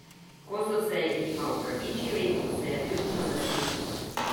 Ko so se jima opravičili, se je vljudno nasmehnil.